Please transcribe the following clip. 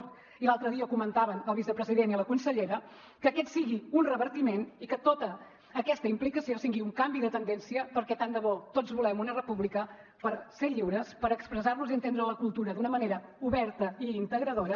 i l’altre dia ho comentaven el vicepresident i la consellera que aquest sigui un revertiment i que tota aquesta implicació sigui un canvi de tendència perquè tant de bo tots volem una república per ser lliures per expressar nos i entendre la cultura d’una manera oberta i integradora